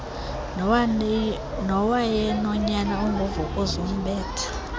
nowayenonyana ongu vukuzumbethe